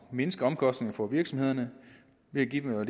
mindske omkostningerne for virksomhederne det giver